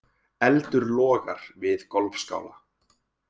Eldur logar við golfskála